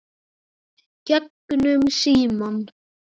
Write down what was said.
Gegnum símann.